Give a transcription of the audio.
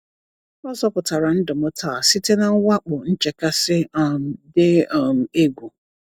Ọ zọpụtara ndụ m taa site na mwakpo nchekasị um dị um egwu.